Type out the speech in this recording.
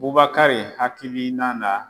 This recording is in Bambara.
Bubakari hakilina na